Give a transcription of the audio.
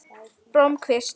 Blómkvist